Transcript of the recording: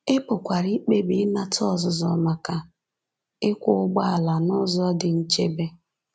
Ị pụkwara ikpebi ịnata ọzụzụ maka ịkwọ ụgbọala n’ụzọ dị nchebe.